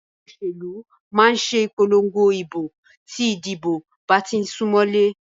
Ẹgbẹ́ òṣèlú máà ṣe ìpòlongo ìbò tí ìdìbò bá tí ń sún mọlé.